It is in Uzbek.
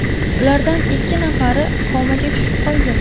Ulardan ikki nafari komaga tushib qolgan.